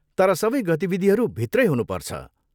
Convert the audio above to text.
तर सबै गतिविधिहरू भित्रै हुनुपर्छ।